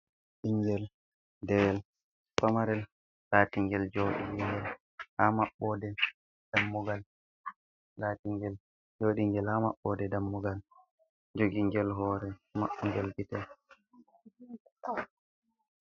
Bingel dewel famarel latingel jodiingel ha mabbodel dammugal laatingel jodi ngel ha mabbode dammugal jogingel hore mabbongel bite.